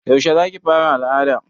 Yaushe za ki fara al'ada